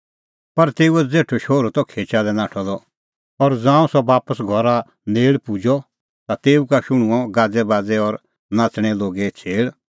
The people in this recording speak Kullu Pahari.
पर तेऊओ ज़ेठअ शोहरू त खेचा लै नाठअ द और ज़ांऊं सह बापस घरा नेल़ पुजअ ता तेऊ का शुहणनअ गाज़ैबाज़ै और नाच़दै लोगे छ़ेल़